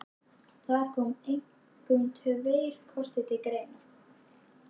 Þar koma einkum tveir kostir til greina.